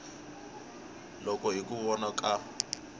loko hi ku vona ka